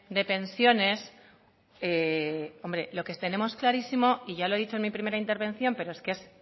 de pensiones hombre lo que tenemos clarísimo y ya lo he dicho en mi primera intervención pero que es